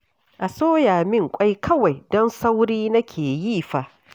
A soya min ƙwai kawai, don sauri nake yi fa